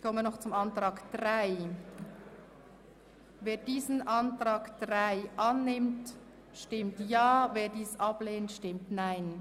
Wer den Ordnungsantrag 3 annimmt, stimmt Ja, wer diesen ablehnt, stimmt Nein.